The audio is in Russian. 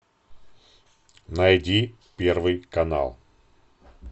найди первый канал